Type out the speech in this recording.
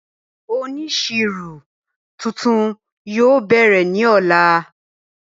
Ọnísíro tuntun yóò bẹ̀rẹ̀ ni ọ̀lá